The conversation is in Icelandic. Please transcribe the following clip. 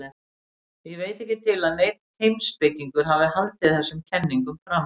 Ég veit ekki til að neinn heimspekingur hafi haldið þessum kenningum fram.